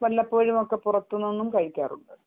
വല്ലപ്പോഴും പുറത്തുനിന്ന് കഴിക്കാറുണ്ട്